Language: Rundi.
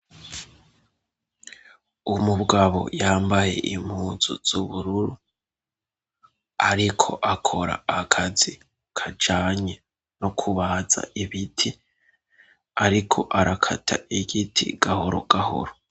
Umugabo yambaye impunzu z'ubururu ariko akora akazi kajanye no kubaza ibiti ariko arakata igiti gahoro gahoro.